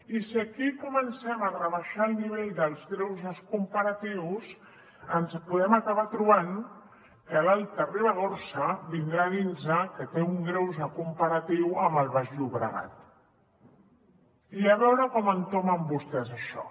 i si aquí comencem a rebaixar el nivell dels greuges comparatius ens podem acabar trobant que l’alta ribagorça vindrà a dirnos que té un greuge comparatiu amb el baix llobregat i a veure com entomen vostès això